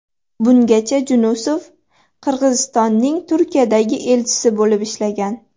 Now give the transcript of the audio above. Bungacha Junusov Qirg‘izistonning Turkiyadagi elchisi bo‘lib ishlagan.